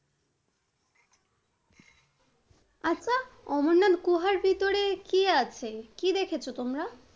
আচ্ছা অমরনাথ গুহার ভিতরে কি আছে? কি দেখেছো তোমরা?